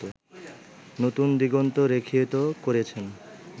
নতুন দিগন্ত রেখায়িত করেছেন